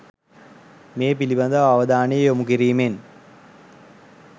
මේ පිළිබඳ අවධානය යොමුකිරීමෙන්